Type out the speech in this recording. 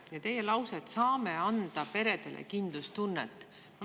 Te ütlesite lause, et "saame anda peredele kindlustunnet".